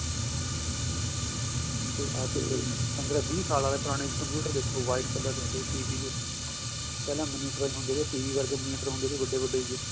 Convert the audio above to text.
ਠੀਕ ਏ ਅੱਜ ਤੋ ਪੰਦਰਾ ਵੀਹ ਸਾਲ ਆਲੇ ਪੁਰਾਣੇ computer ਦੇਖੋ white color ਦੇ ਹੁੰਦੇ ਸੀ CPU ਪਹਿਲਾਂ monitor ਵੀ ਹੁੰਦੇ ਸੀ TV ਵਰਗੇ monitor ਹੁੰਦੇ ਸੀ ਵੱਡੇ ਵੱਡੇ